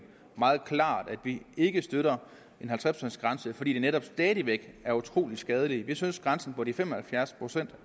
meget klart at vi ikke støtter en halvtreds procents grænse fordi det netop stadig væk er utrolig skadeligt vi synes at grænsen på de fem og halvfjerds procent